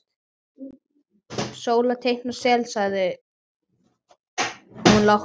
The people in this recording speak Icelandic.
Sóla teikna sel, sagði hún lágt.